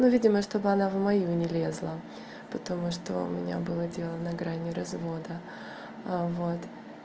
но видимо чтобы она в мою не лезла потому что у меня было дело на грани развода вот